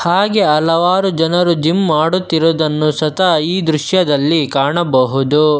ಹಾಗೆ ಹಲವಾರು ಜನರು ಜಿಮ್ ಮಾಡುತ್ತಿರುವುದನ್ನು ಸತ್ತ ಈ ದೃಶ್ಯದಲ್ಲಿ ಕಾಣಬಹುದು.